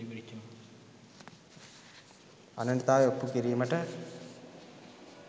අනන්‍යතාවය ඔප්පු කිරීමට